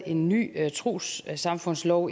en ny trossamfundslov